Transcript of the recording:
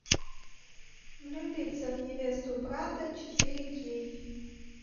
влюбиться в невесту брата четыре кей